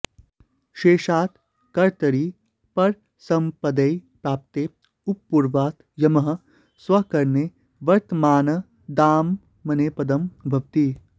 शेषात् कर्तरि परस्मैपदे प्राप्ते उपपूर्वात् यमः स्वकरणे वर्तमानादात्मनेपदं भवति